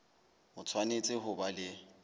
o tshwanetse ho ba le